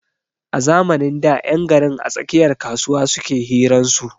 A zamanin da 'yan garin a tsakiyar kasuwa suke hiran su.